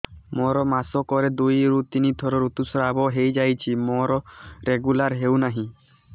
ମୋର ମାସ କ ରେ ଦୁଇ ରୁ ତିନି ଥର ଋତୁଶ୍ରାବ ହେଇଯାଉଛି ମୋର ରେଗୁଲାର ହେଉନାହିଁ